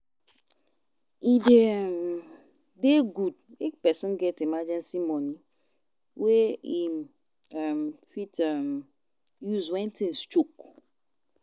E de um dey good make person get emergency money wey im um fit um use when things choke